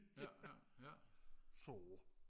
ja ja ja